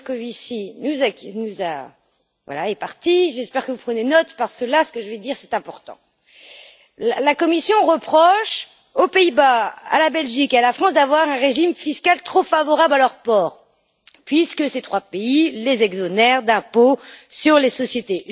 Moscovici est parti, j'espère que vous prenez note, parce que ce que je vais dire est important. La Commission reproche aux Pays Bas, à la Belgique et à la France d'avoir un régime fiscal trop favorable à leurs ports, puisque ces trois pays les exonèrent de l'impôt sur les sociétés.